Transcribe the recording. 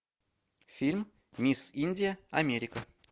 фильм мисс индия америка